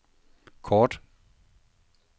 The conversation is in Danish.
kort